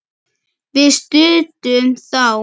Við studdum þá!